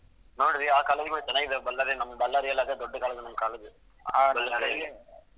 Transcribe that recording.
ನೋಡ್ದ್ರಾಆ college ಕೂಡ ಚೆನ್ನಾಗಿದೆ, ನಮ್ ಬಳ್ಳಾರಿ ನಮ್ Ballari ಅಲ್ಲಿ ಅದೇ ದೊಡ್ಡ college ನಮ್ college ಬಳ್ಳಾರಿಗೆ .